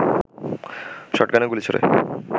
শটগানের গুলি ছোড়ে